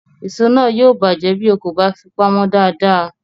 Èso náà yóò bàjẹ́ bí o kò bá fi pamọ́ dáadáa